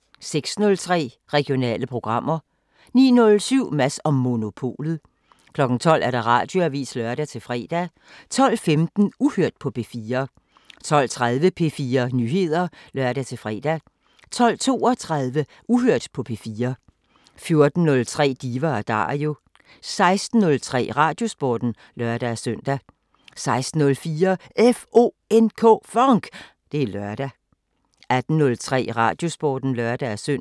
06:03: Regionale programmer 09:07: Mads & Monopolet 12:00: Radioavisen (lør-fre) 12:15: Uhørt på P4 12:30: P4 Nyheder (lør-fre) 12:32: Uhørt på P4 14:03: Diva & Dario 16:03: Radiosporten (lør-søn) 16:04: FONK! Det er lørdag 18:03: Radiosporten (lør-søn)